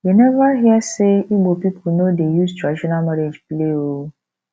you neva hear sey ibo pipu no dey use traditional marriage play o